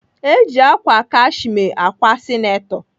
Eji ákwà kashme ákwà sineto.